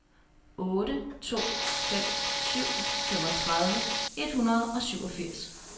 otte to fem syv femogtredive et hundrede og syvogfirs